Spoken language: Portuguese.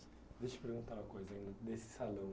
Deixa eu te perguntar uma coisa ainda, desse salão.